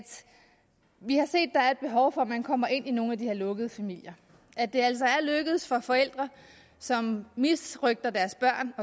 vi har set der er et behov for at man kommer ind i nogle af de her lukkede familier det er altså lykkedes for forældre som misrøgter deres børn